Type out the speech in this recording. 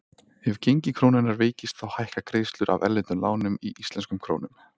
Ef gengi krónunnar veikist þá hækka greiðslur af erlendum lánum í íslenskum krónum.